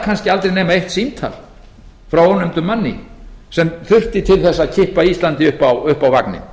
kannski aldrei nema eitt símtal frá ónefndum manni sem þurfti til þess að kippa íslandi upp á vagninn